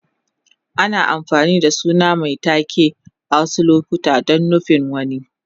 Ana amfani da suna mai taken a wasu lokuta don nufin wani.